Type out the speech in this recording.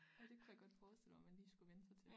Ej det kunne jeg godt forestille mig man lige skal vænne sig til